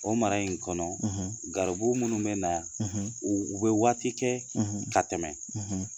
O mara in kɔnɔ garibu minnu bina u u be waati kɛ ka tɛmɛ